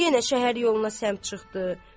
Yenə şəhər yoluna səmt çıxdı.